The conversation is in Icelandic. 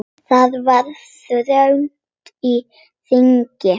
Það var þröng á þingi.